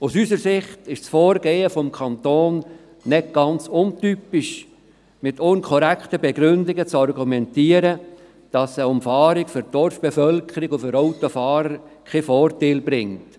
Aus unserer Sicht ist das Vorgehen des Kantons nicht ganz untypisch, es wird mit unkorrekten Begründungen dafür argumentiert, dass die Umfahrung für die Dorfbevölkerung und für die Autofahrer keinen Vorteil bringe.